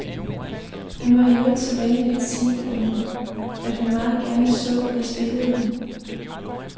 Hun var i øvrigt så venlig at sige, at hun meget gerne så, at jeg spillede den.